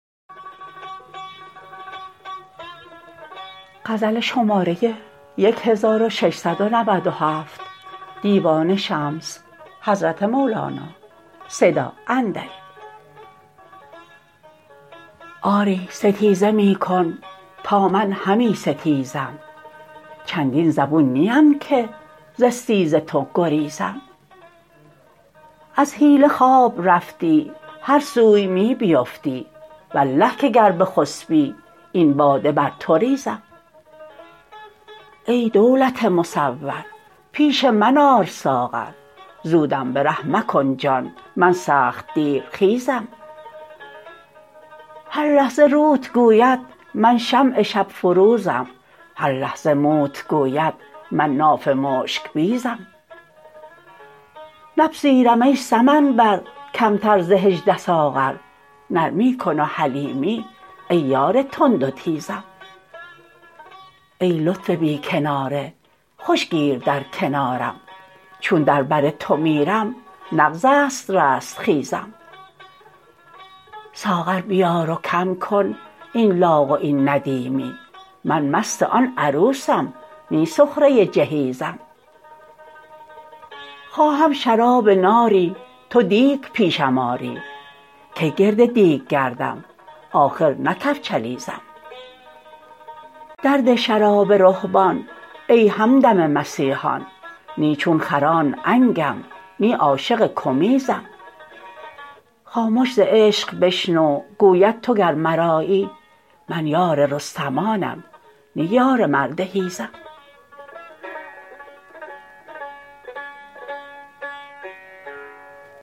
آری ستیزه می کن تا من همی ستیزم چندین زبون نیم که ز استیز تو گریزم از حیله خواب رفتی هر سوی می بیفتی والله که گر بخسپی این باده بر تو ریزم ای دولت مصور پیش من آر ساغر زودم به ره مکن جان من سخت دیرخیزم هر لحظه روت گوید من شمع شب فروزم هر لحظه موت گوید من ناف مشک بیزم نپذیرم ای سمن بر کمتر ز هجده ساغر نرمی کن و حلیمی ای یار تند و تیزم ای لطف بی کناره خوش گیر در کنارم چون در بر تو میرم نغز است رستخیزم ساغر بیار و کم کن این لاغ و این ندیمی من مست آن عروسم نی سخره جهیزم خواهم شراب ناری تو دیگ پیشم آری کی گرد دیگ گردم آخر نه کفچلیزم درده شراب رهبان ای همدم مسیحان نی چون خران عنگم نی عاشق کمیزم خامش ز عشق بشنو گوید تو گر مرایی من یار رستمانم نی یار مرد حیزم